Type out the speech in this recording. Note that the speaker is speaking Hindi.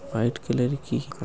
व्हाइट कलरकी --